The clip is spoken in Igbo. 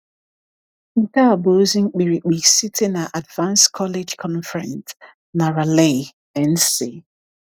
Nke a bụ ozi mkpirikpi site na *Advance College Conference* na Raleigh, NC.